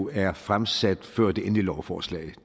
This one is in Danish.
er fremsat før det egentlige lovforslag